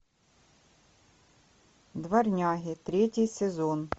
дворняги третий сезон